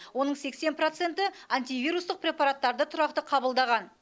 оның сексен проценті антивирустық препараттарды тұрақты қабылдаған